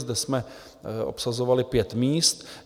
Zde jsme obsazovali pět míst.